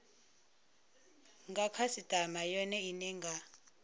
nga khasitama yone ine nga